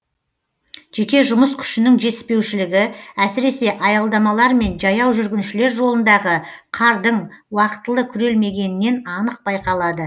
жеке жұмыс күшінің жетіспеушілігі әсіресе аялдамалар мен жаяу жүргіншілер жолындағы қардың уақытылы күрелмегенінен анық байқалады